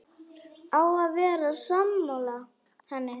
Á að vera sammála henni.